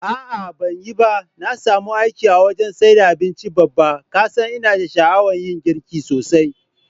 A'a banyiba, na samu aiki a wajan saida abinci Babba, kasan ina sha'awan yin girki sosai.